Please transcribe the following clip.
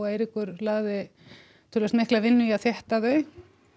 Eiríkur lagði töluvert mikla vinnu í að þétta þau